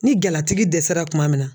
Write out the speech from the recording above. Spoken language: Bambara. Ni galatigi dɛsɛra kuma min na.